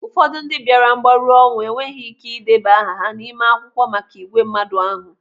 Ụfọdụ ndị bịara mgbaru ọnwụ enweghị ike ideba aha ha n'ime akwụkwọ maka ìgwè mmadụ ahụ.